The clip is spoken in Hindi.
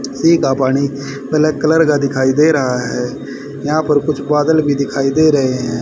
सी का पानी ब्लैक कलर का दिखाई दे रहा है यहां कुछ बादल भी दिखाई दे रहे है।